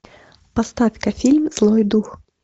поставь ка фильм злой дух